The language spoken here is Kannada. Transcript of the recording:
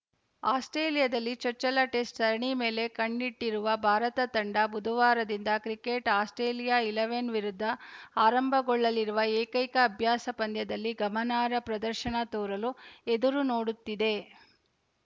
ಆಸ್ಪ್ರೇಲಿಯಾದಲ್ಲಿ ಚೊಚ್ಚಲ ಟೆಸ್ಟ‌ ಸರಣಿ ಮೇಲೆ ಕಣ್ಣಿಟ್ಟಿರುವ ಭಾರತ ತಂಡ ಬುಧವಾರದಿಂದ ಕ್ರಿಕೆಟ್‌ ಆಸ್ಪ್ರೇಲಿಯಾ ಇಲೆವೆನ್‌ ವಿರುದ್ಧ ಆರಂಭಗೊಳ್ಳಲಿರುವ ಏಕೈಕ ಅಭ್ಯಾಸ ಪಂದ್ಯದಲ್ಲಿ ಗಮನಾರ್ಹ ಪ್ರದರ್ಶನ ತೋರಲು ಎದುರು ನೋಡುತ್ತಿದೆ